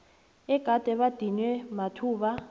egade badinywe amathuba